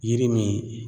Yiri min